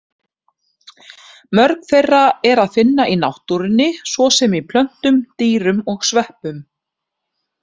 Mörg þeirra er að finna í náttúrunni, svo sem í plöntum, dýrum og sveppum.